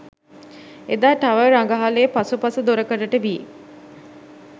එදා ටවර් රඟහලේ පසු පස දොරකඩට වී